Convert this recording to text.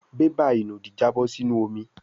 bébà ìnùdí Jabo sí inú omí.